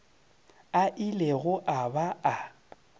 a ilego a ba a